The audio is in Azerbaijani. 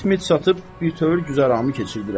Çit-mit satıb bütöv güzaranımı keçirdirəm.